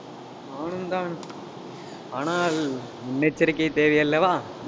நானும்தான் ஆனால், முன்னெச்சரிக்கை தேவை அல்லவா